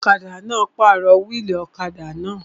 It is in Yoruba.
Ọlọ́kadà náà pàrọ̀ wíìlì ọ̀kadà náà